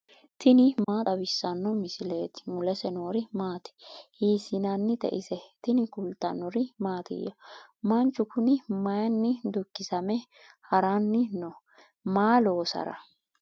tini maa xawissanno misileeti ? mulese noori maati ? hiissinannite ise ? tini kultannori mattiya? Manchu kunni mayinni dukkisamme haranni noo? Maa loosara ?